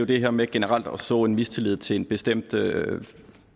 det her med generelt at så en mistillid til en bestemt